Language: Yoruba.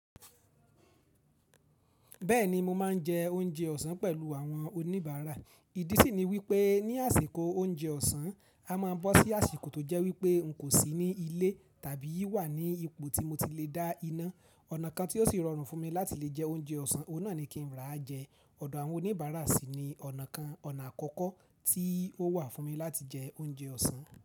Bẹ́ẹ̀ni mo máa ń jẹ oúnjẹ ọ̀sán pẹ̀lú àwọn oníbàárà. Ìdí sì ni wípé ní àsìkò oúnjẹ ọ̀sán, a máa ń bọ́ sí àsìkò tó jẹ́ wípé n kò sí ní ilé tàbí wà ní ipò tí mo ti le dá iná. Ọ̀nà kan tí ó sì rọrùn fún mi láti lè jẹ oúnjẹ ọ̀sán, ọ̀un náà ni kí n rá jẹ. Ọ̀dọ̀ àwọn oníbàárà sì ni ọ̀nà kan ọ̀nà àkọ́kọ́ tí ó wà fún mi láti jẹ oúnjẹ ọ̀sán.